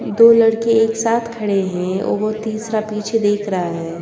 दो लड़के एक साथ खड़े हैं और तीसरा पीछे देख रहा है।